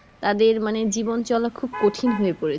তাদের মানে জীবন চলা খুব কঠিন হয়ে পড়েছে